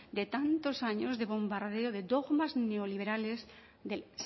de tantos años de bombardeo de dogmas neoliberales del